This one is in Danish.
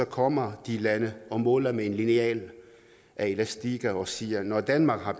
kommer de lande og måler med en lineal af elastik og siger at når danmark har